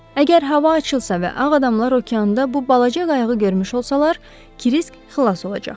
Əgər hava açılsa və ağ adamlar okeanda bu balaca qayığı görmüş olsalar, Krisk xilas olacaq.